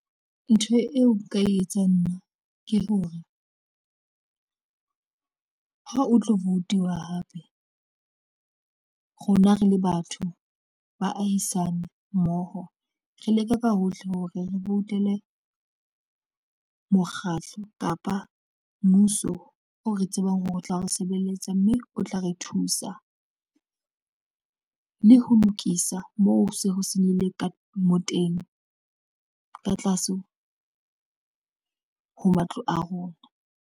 Ntho eo nka e etsang nna ke hore ha o tlo vote-iwa hape rona re le batho baahisane mmoho re leke ka hohle hore re voutele mokgatlo kapa mmuso o re tsebang hore o tla re sebeletsa mme o tla re thusa le ho lokisa moo ho se ho senyehile ka mo teng ka tlase ho matlo a rona.